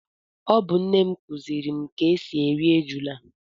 Ọ bu nne m kuziri m ka esi eri ejula